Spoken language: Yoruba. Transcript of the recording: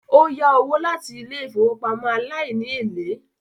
Ó yá owó láti ilé ìfowópamọ́ aláìníèlè